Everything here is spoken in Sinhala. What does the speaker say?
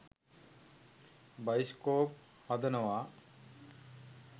බයිස්කොප් හදනවා.